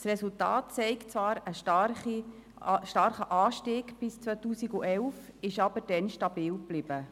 Das Resultat zeigt zwar einen starken Anstieg bis zum Jahr 2011, aber danach blieb die Abgabe stabil.